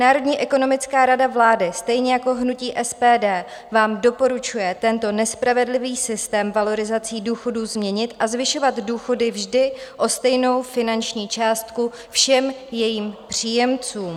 Národní ekonomická rada vlády, stejně jako hnutí SPD, vám doporučuje tento nespravedlivý systém valorizací důchodů změnit a zvyšovat důchody vždy o stejnou finanční částku všem jejím příjemcům.